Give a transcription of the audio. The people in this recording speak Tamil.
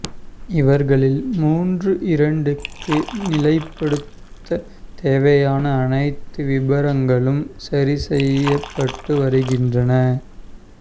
இவர்களில் மூன்று இரண்டுக்கு நிலைப்படுத்த தேவையான அனைத்து விபரங்களும் சரி செய்யபட்டு வருகின்றன